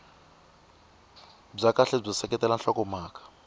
bya kahle byo seketela nhlokomhaka